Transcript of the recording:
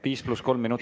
Viis pluss kolm minutit.